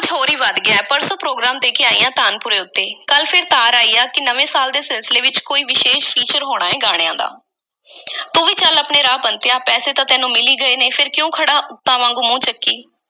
ਹੋਰ ਈ ਵਧ ਗਿਆ ਏ। ਪਰਸੋਂ program ਦੇ ਕੇ ਆਈ ਹਾਂ, ਤਾਨਪੁਰੇ ਉੱਤੇ। ਕੱਲ੍ਹ ਫੇਰ ਤਾਰ ਆਈ ਆ ਕਿ ਨਵੇਂ ਸਾਲ ਦੇ ਸਿਲਸਿਲੇ ਵਿੱਚ ਕੋਈ ਵਿਸ਼ੇਸ਼ feature ਹੋਣਾ ਏ ਗਾਣਿਆਂ ਦਾ। ਤੂੰ ਵੀ ਚੱਲ ਆਪਣੇ ਰਾਹ, ਬੰਤਿਆ, ਪੈਸੇ ਤਾਂ ਤੈਨੂੰ ਮਿਲ ਈ ਗਏ ਨੇ, ਫੇਰ ਕਿਉਂ ਖੜ੍ਹਾ ਏਂ ਊਤਾਂ ਵਾਂਗ ਮੂੰਹ ਚੁੱਕੀ?